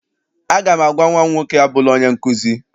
Aga m agwa nnwa m nwoke, abụla onye nkụzi!